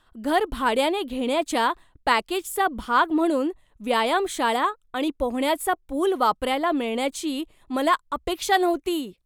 घर भाड्याने घेण्याच्या पॅकेजचा भाग म्हणून व्यायामशाळा आणि पोहण्याचा पुल वापरायला मिळण्याची मला अपेक्षा नव्हती.